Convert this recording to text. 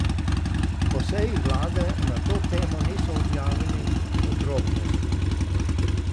Po seji vlade na to temo niso objavili podrobnosti.